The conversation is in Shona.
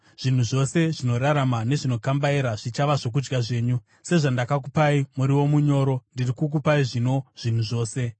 Zvinhu zvose zvinorarama nezvinokambaira zvichava zvokudya zvenyu. Sezvandakakupai muriwo munyoro, ndiri kukupai zvino zvinhu zvose.